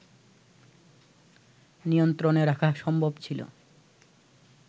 নিয়ন্ত্রনে রাখা সম্ভব ছিল